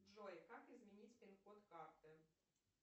джой как изменить пин код карты